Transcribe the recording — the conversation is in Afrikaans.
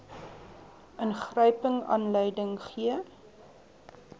ingryping aanleiding gee